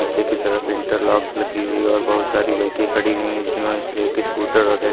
नीचे की तरफ इंटरलॉक्स लगी हुई और बहुत सारी बाइकें खड़ी हुई जिसमें उसे एक स्कूटर और एक --